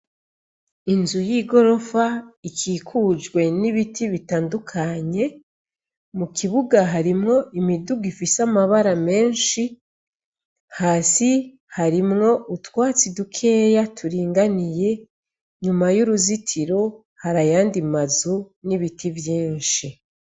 Inzu y'igorofa, ikikujwe n'ibiti bitandukanye, mu kibuga harimwo imiduga ifise amabara menshi, hasi harimwo utwatsi dukeya turinganiye ,nyuma y'uruzitiro harayandi mazu n'ibiti vyinshi.